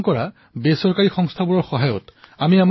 কিছুমানে দুখীয়া লৰাছোৱালীসমূহৰ পঢ়ুৱাৰ কাম কৰি আছে